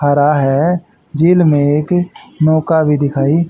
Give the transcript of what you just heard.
हरा है झील में एक नौका भी दिखाई--